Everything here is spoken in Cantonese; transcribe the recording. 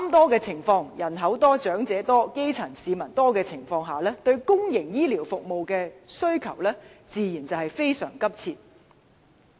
在人口多、長者多、基層市民多的"三多"情況下，該區對公營醫療服務的需求自然非常殷切。